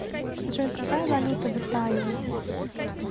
джой какая валюта в италии